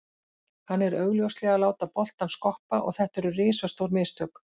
Hann er augljóslega að láta boltann skoppa og þetta eru risastór mistök.